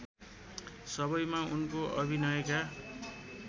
सबैमा उनको अभिनयका